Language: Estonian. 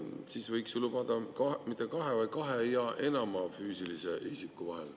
Siis võiks ju lubada seda mitte kahe, vaid kahe ja enama füüsilise isiku vahel.